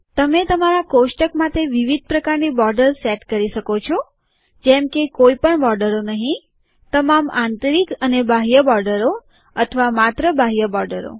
તમે તમારા કોષ્ટક માટે વિવિધ પ્રકારની બોર્ડેર સેટ કરી શકો છો જેમ કે કોઈ પણ બોર્ડરો નહીં તમામ આંતરિક અને બાહ્ય બોર્ડરો અથવા માત્ર બાહ્ય બોર્ડરો